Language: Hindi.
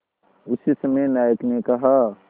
उसी समय नायक ने कहा